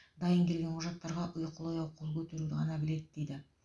дайын келген құжаттарға ұйқылы ояу қол көтеруді ғана біледі дейді